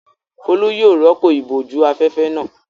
Folú yóò rọ́pò ìbòjú-afẹ́fẹ́ náà.